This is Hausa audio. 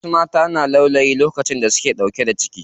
Wasu matan suna laulayi a lokacin da suke ɗauke da ciki.